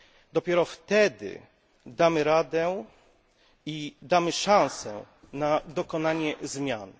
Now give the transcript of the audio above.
Dopiero wtedy damy radę i damy szansę na dokonanie zmian.